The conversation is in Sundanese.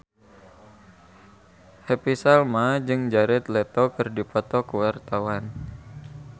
Happy Salma jeung Jared Leto keur dipoto ku wartawan